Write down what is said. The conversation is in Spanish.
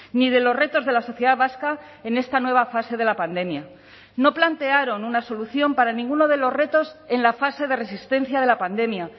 ni de los retos de la sociedad vasca en esta nueva fase de la pandemia no plantearon una solución para ninguno de los retos en la fase de resistencia de la pandemia